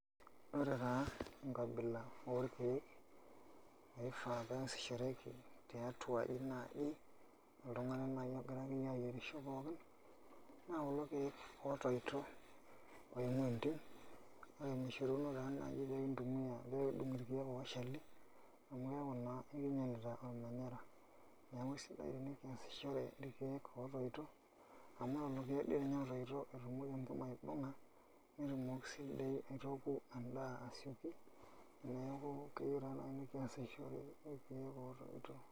Ore taa enkabila orkeek naifaa pee eesishoreki tiatua aji oltung'ani naaji ogira ayierisho pookin naa kulo keek ootoito kake mishoruno pee kintumia ashu pee kidung' irkeek oshali, neeku sidai tenekiasishore irkeek ootoito amu lelo keek doi ninye ootoito etumoki enkima aibung'a netumoki sii aitooku endaa aitasioki, neeku keyieu naai nikiasishore irkeek ootoito.